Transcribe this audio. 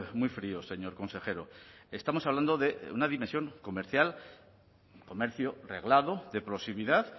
muy fríos señor consejero estamos hablando de una dimensión comercial comercio reglado de proximidad